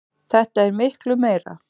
Þetta er miklu meira.